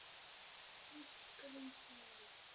Systrum sínum.